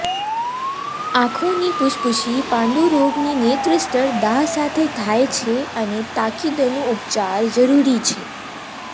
આંખોની પુષ્પુષી પાંડુરોગની નેત્રસ્તર દાહ સાથે થાય છે અને તાકીદનું ઉપચાર જરૂરી છે